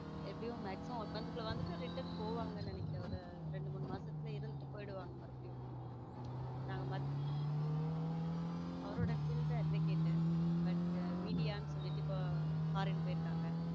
எப்படியும் maximum one month குள்ள வந்துட்டு return போவாங்க நினைக்கிறேன் ஒரு ரெண்டு மூணு மாசத்துல இருந்துட்டு போயிடுவாங்க மறுபடியும நாங் அவரோ field advocate but media னு சொல்லிட்டு இப்போ foreign போயிருக்காங்க.